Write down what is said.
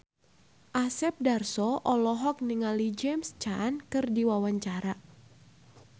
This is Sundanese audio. Asep Darso olohok ningali James Caan keur diwawancara